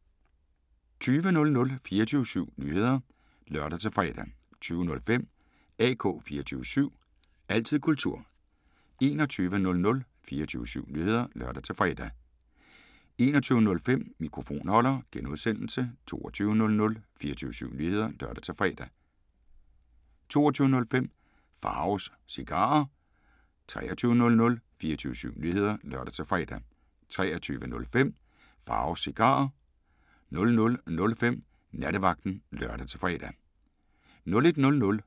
20:00: 24syv Nyheder (lør-fre) 20:05: AK 24syv – altid kultur 21:00: 24syv Nyheder (lør-fre) 21:05: Mikrofonholder (G) 22:00: 24syv Nyheder (lør-fre) 22:05: Pharaos Cigarer 23:00: 24syv Nyheder (lør-fre) 23:05: Pharaos Cigarer 00:05: Nattevagten (lør-fre) 01:00: